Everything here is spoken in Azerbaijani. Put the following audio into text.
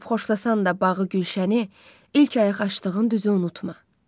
Görüb xoşlasan da bağı, gülşəni, ilk ayaq açdığın düzü unutma.